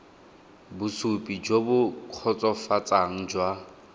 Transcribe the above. bosupi jo bo kgotsofatsang jwa